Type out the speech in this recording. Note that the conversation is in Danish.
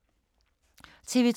TV 2